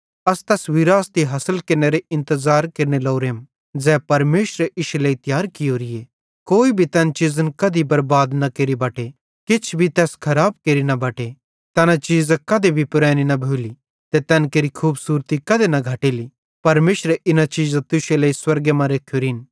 अस तैस विरासती हासिल केरनेरो इंतज़ार केरने लोरेम ज़ै परमेशरे इश्शे लेइ तियार कियोरीए कोई भी तैन चीज़न कधी बरबाद न केरि बटे किछ भी तैस खराब केरि बटे तैना चीज़ां कधी भी पुरैनी न भोली ते तैन केरि खूबसूरती कधे न घटेली परमेशरे इना चीज़ां तुश्शे लेइ स्वर्गे मां रेखोरिन